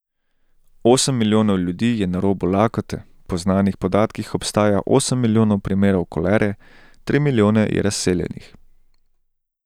Osem milijonov ljudi je na robu lakote, po znanih podatkih obstaja milijon primerov kolere, tri milijone je razseljenih.